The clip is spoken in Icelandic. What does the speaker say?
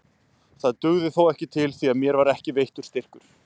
Það dugði þó ekki til því að mér var ekki veittur styrkur.